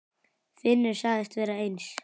Finnur sagðist vera eins.